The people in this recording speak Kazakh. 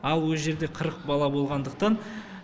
ал ол жерде қырық бала болғандықтан